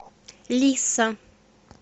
лиса